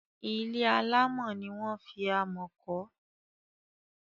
Ilé alámọ̀ ni wọ́n fi amọ̀ kọ́.